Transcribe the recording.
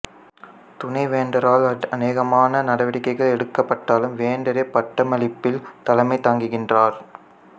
துணைவேந்தரால் அநேகமான நடவடிக்கைகள் எடுக்கப்பட்டாலும் வேந்தரே பட்டமளிப்பில் தலைமை தாங்குகின்றார்